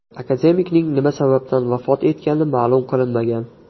Akademikning nima sababdan vafot etgani ma’lum qilinmagan.